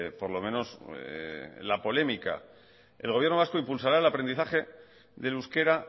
por lo menos la polémica el gobierno vasco impulsará el aprendizaje del euskera